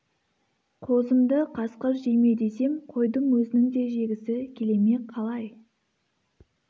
қозымды қасқыр жей ме десем қойдың өзінің де жегісі келе ме қалай